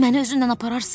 Məni özünnən apararsan?